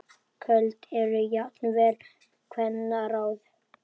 Köld eru jafnan kvenna ráð.